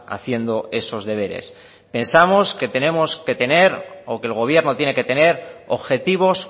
haciendo esos deberes pensamos que tenemos que tener o que el gobierno tiene que tener objetivos